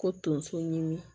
Ko tonso ɲimi